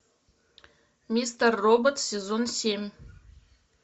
мистер робот сезон семь